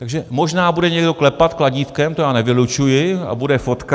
Takže možná bude někdo klepat kladívkem, to já nevylučuji, a bude fotka.